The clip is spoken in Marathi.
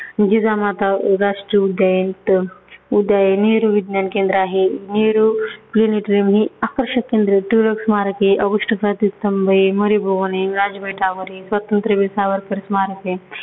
जिजामाता उ राष्ट्रीय उद्यान त उद्यान आहे. नेहरु विज्ञान केंद्र आहे, नेहरु planetarium हे आकर्षित केंद्र आहे. टिळक स्मारक आहे, ऑगस्ट क्रांती स्तंभ आहे, मणिभवन आहे, वरील स्वातंत्र्यवीर सावरकर स्मारक आहे.